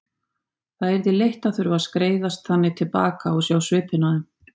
Það yrði leitt að þurfa að skreiðast þannig til baka og sjá svipinn á þeim.